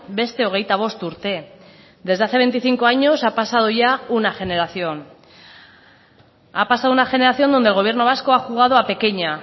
beste hogeita bost urte desde hace veinticinco años ha pasado ya una generación ha pasado una generación donde el gobierno vasco ha jugado a pequeña